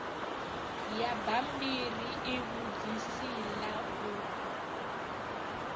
ya bammbiri ivhudzisi ḽa u